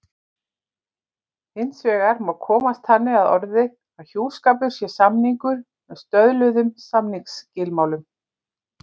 Hins vegar má komast þannig að orði að hjúskapur sé samningur með stöðluðum samningsskilmálum.